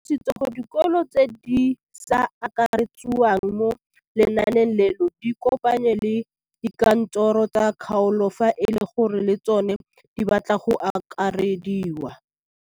O tlhalositse gore dikolo tse di sa akarediwang mo lenaaneng leno di ikopanye le dikantoro tsa kgaolo fa e le gore le tsona di batla go akarediwa.